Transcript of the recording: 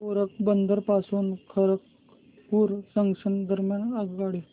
पोरबंदर पासून खरगपूर जंक्शन दरम्यान आगगाडी